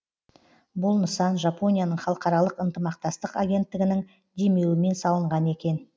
бұл нысан жапонияның халықаралық ынтымақтастық агенттігінің демеуімен салынған екен